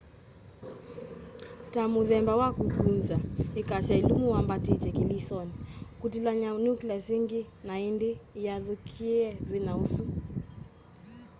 ta muthemba wa kukunza ikasya ilumu wambatitye kilisoni kutilany'a nucleus ingi na indi iyathukia vinya usu